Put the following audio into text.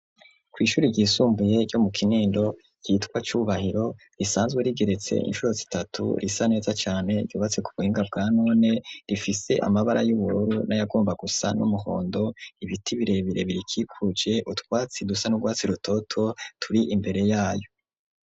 Kw'ishure ryisumbuye ryo mu kinindo ryitwa cubahiro, risanzwe rigeretse incuro zitatu, risa neza cane, ryubatse ku buhinga bwa none, rifise amabara y'ubururu nayagomba gusa n'umuhondo, ibiti birebire birikikuje utwatsi dusa n'urwatsi rutoto turi imbere yayo.